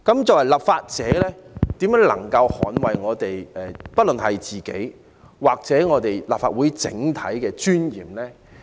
作為立法者，我們如何能捍衞自己或立法會整體的尊嚴呢？